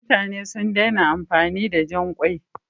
Mutane sun daina amfani da jan ƙwai.